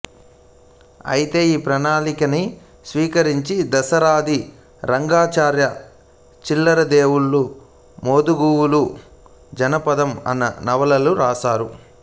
ఐతే ఈ ప్రణాళికనే స్వీకరించి దాశరథి రంగాచార్య చిల్లర దేవుళ్ళు మోదుగుపూలు జనపదం అన్న నవలలు రాశారు